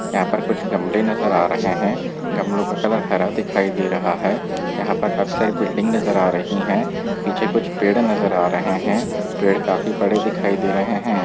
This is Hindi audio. यहाँ पर कुछ गमले नज़र आ रहे है गमलो का कलर हरा दिखाई दे रहा है यहाँ पर काफी सारी बिल्डिंग नज़र आ रही है पीछे कुछ पेड़ नज़र आ रहे है पेड़ काफी बड़े दिखाई दे रहे है।